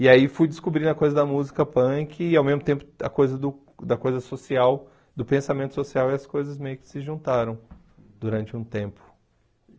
E aí fui descobrindo a coisa da música punk e ao mesmo tempo da coisa do da coisa social, do pensamento social, e as coisas meio que se juntaram durante um tempo.